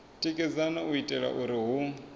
tikedzaho u itela uri hu